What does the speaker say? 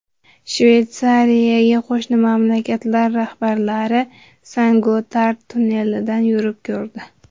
Shveysariyaga qo‘shni mamlakatlar rahbarlari Sen-Gotard tunnelidan yurib ko‘rdi.